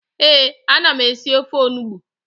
Ee, a na m esị ofe onugbu